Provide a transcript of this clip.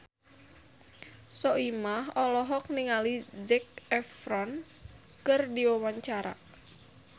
Soimah olohok ningali Zac Efron keur diwawancara